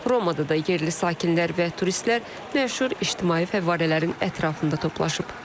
Romada da yerli sakinlər və turistlər məşhur ictimai fəvvarələrin ətrafında toplaşıb.